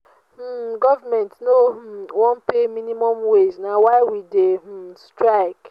um government no um wan pay minimum wage na why we dey um strike.